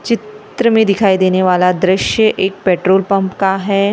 चित्र में दिखाई देने वाला दृश्य एक पेट्रोल पंप का है।